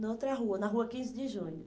Na outra rua, na rua quinze de junho.